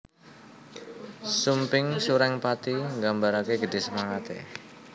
Sumping Surengpati nggambarake gedhe semangate